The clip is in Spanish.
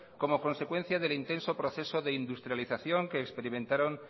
como consecuencia del intenso proceso de industrialización que experimentaron